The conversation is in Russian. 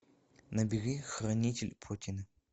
набери хранитель плотины